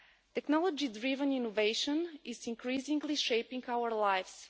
Technology driven innovation is increasingly shaping our lives.